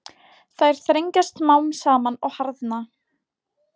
Þær þrengjast smám saman og harðna.